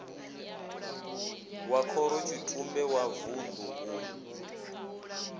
wa khorotshitumbe wa vunḓu u